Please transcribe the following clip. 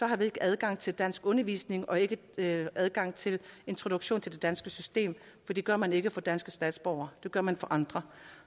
har vi ikke adgang til danskundervisning og ikke ikke adgang til introduktion til det danske system for det gør man ikke for danske statsborgere det gør man for andre